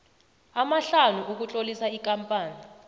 amahlanu ukutlolisa ikampani